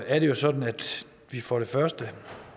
er det jo sådan at vi for det første